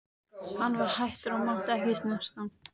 Hann var hættur og mátti ekki snerta.